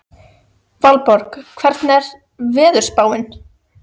Valborg, hvernig er veðurspáin?